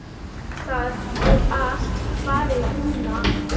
Það er allt farið núna.